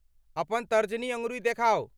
अपन तर्जनी अँगुरी देखाउ।